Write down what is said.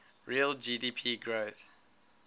real gdp growth